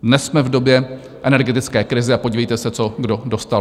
Dnes jsme v době energetické krize, a podívejte se, co kdo dostal.